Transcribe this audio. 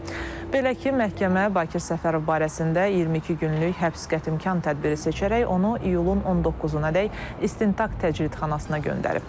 Belə ki, məhkəmə Bakir Səfərov barəsində 22 günlük həbs qətimkan tədbiri seçərək onu iyulun 19-adək istintaq təcridxanasına göndərib.